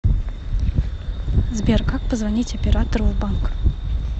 сбер как позвонить оператору в банк